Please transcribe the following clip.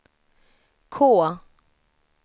K